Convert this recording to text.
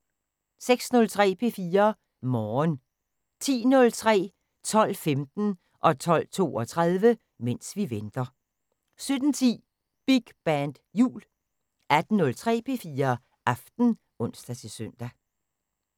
06:03: P4 Morgen 10:03: Mens vi venter 12:15: Mens vi venter 12:32: Mens vi venter 17:10: Big band jul 18:03: P4 Aften (ons-søn)